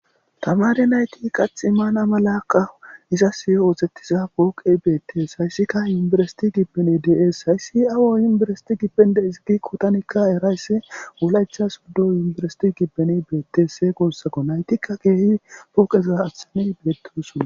Tamari nayti qatx maana malaqa iza siy ootettiza booqe beettees hayssika yumbersiti gibbeni dees hayssi aawo yumberesiti gipende izigi kotanikka erayssi wulaytha suddo yumberesiti gibben beettes see gossako naytikka keehi pooqeza aththani beettouson.